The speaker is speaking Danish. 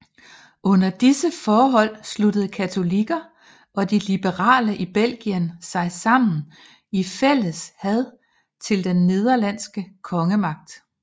Under disse forhold sluttede katolikker og de liberale i Belgien sig sammen i fælles had til den nederlandske kongemagt